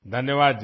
धन्यवाद जी